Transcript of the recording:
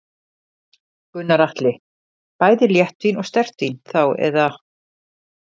Gunnar Atli: Bæði léttvín og sterkt vín þá eða?